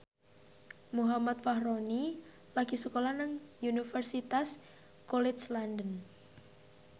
Muhammad Fachroni lagi sekolah nang Universitas College London